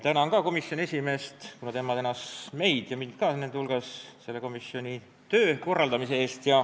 Tänan ka komisjoni esimeest, kuna tema tänas meid ja mind ka teiste hulgas selle komisjoni töö korraldamise eest.